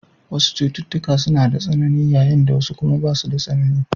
Wasu cututtuka suna da tsanani, yayin da wasu kuma basu da tsanani.